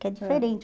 Que é diferente.